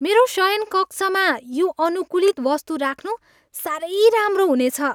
मेरो शयनकक्षमा यो अनुकूलित वस्तु राख्नु साह्रै राम्रो हुनेछ।